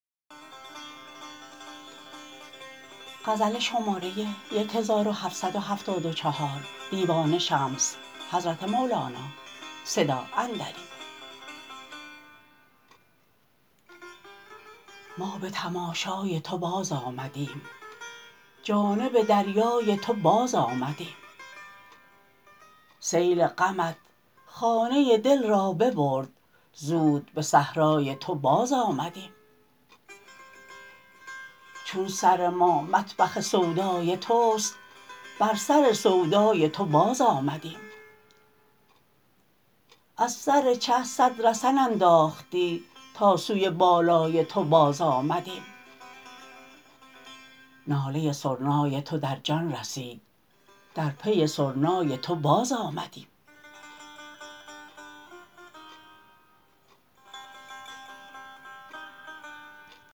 ما به تماشای تو بازآمدیم جانب دریای تو بازآمدیم سیل غمت خانه دل را ببرد زود به صحرای تو بازآمدیم چون سر ما مطبخ سودای توست بر سر سودای تو بازآمدیم از سر چه صد رسن انداختی تا سوی بالای تو بازآمدیم ناله سرنای تو در جان رسید در پی سرنای تو بازآمدیم